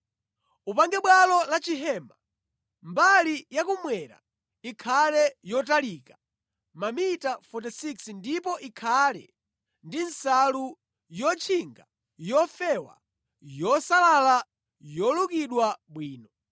“Upange bwalo la chihema. Mbali yakummwera ikhale yotalika mamita 46 ndipo ikhale ndi nsalu yotchinga yofewa yosalala yolukidwa bwino.